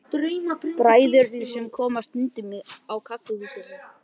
Bræðurnir sem koma stundum á kaffihúsið þitt.